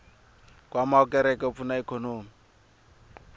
nkwama wa kereke wu pfuna ikhonomi